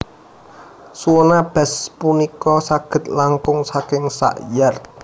Suona bass punika saged langkung saking sak yard